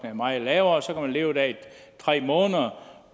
er meget lavere og så kan man leve der i tre måneder